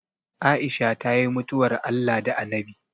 Aisha ta yi mutuwar Allah da Anabi